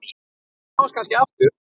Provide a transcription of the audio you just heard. Við sjáumst kannski aftur.